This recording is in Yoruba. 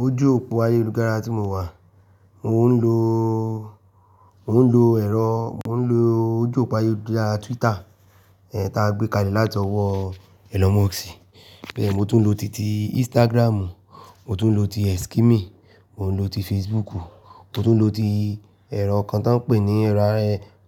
Ojú òpó ayélujára tí mo wà, mo ń lo, mo ń lo ẹ̀rọ, mo ń lo ojú òpó ayélujára Twitter, ẹ́, ta gbé kalẹ̀ látọwọ́ Elon Musk. Bẹ́ẹ̀ni, mo tún lo ti ti Instagram, mo tún lo ti Xkimi, mo ń lo ti Facebook, mo tún lo ti ẹ̀rọ kan tó ń pè ní ẹ̀rọ,